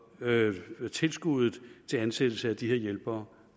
tilskuddet til ansættelse af de her hjælpere